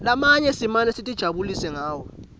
lamanye simane sitijabulisa ngawo